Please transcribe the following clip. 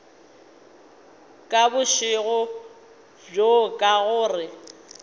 ka bošego bjo ka gore